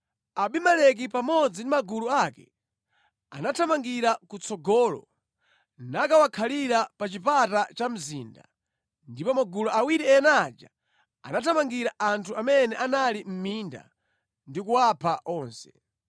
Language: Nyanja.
Abimeleki pamodzi ndi magulu ake anathamangira kutsogolo nakawakhalira pa chipata cha mzinda. Ndipo magulu awiri ena aja anathamangira anthu amene anali mʼminda ndi kuwapha onse.